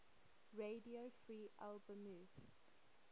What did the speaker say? radio free albemuth